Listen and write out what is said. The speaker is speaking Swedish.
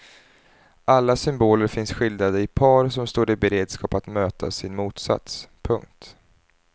Alla symboler finns skildrade i par som står i beredskap att möta sin motsats. punkt